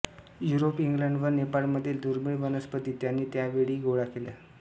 Europe England व नेपाळमधील दुर्मीळ वनस्पती त्यांनी त्या वेळी गोळा केल्या